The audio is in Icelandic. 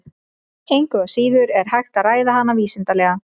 Engu að síður er hægt að ræða hana vísindalega.